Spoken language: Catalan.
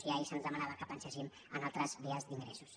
i ahir se’ns demanava que penséssim en altres vies d’ingressos